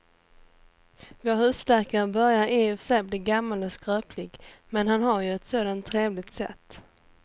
Vår husläkare börjar i och för sig bli gammal och skröplig, men han har ju ett sådant trevligt sätt!